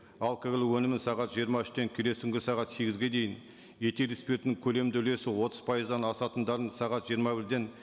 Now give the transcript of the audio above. алкоголь өнімін сағат жиырма үштен келесі күнгі сағат сегізге дейін этил спиртінің көлемді үлесі отыз пайыздан асатындарын сағат жиырма бірден